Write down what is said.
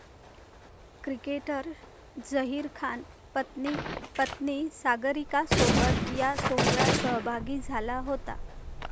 cricketer Zaheer Khan पत्नी पत्नी सागरिकासोबत या सोहळ्यात सहभागी झाला होता